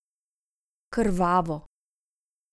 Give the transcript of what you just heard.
Krvavo.